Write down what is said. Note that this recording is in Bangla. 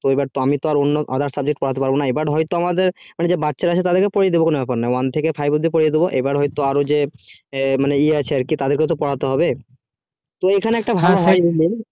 তো এবার তো আমি তো আর অন্য others subject পড়াতে পারবো না এবার হয় তো আমাদের যে বাচ্চারা আছে তাদের কে পরিয়ে দেব কোনো ব্যাপার নাই one থেকে five অব্দি পরিয়ে দেবো এবার হয় তো আরো যে মানে ই আছে আরকি তাদেরকেও তো পড়াতে হবে এইখানে একটা ভালো